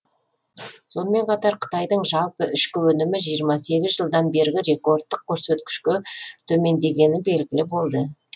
сонымен қатар қытайдың жалпы ішкі өнімі жиырма сегіз жылдан бергі рекордтық көресткішке төмендегені белгілі болды